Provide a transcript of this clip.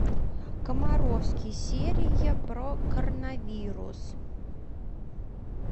комаровский серия про коронавирус